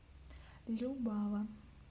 любава